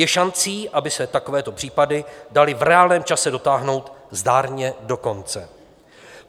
Je šancí, aby se takovéto případy daly v reálném čase dotáhnout zdárně do konce.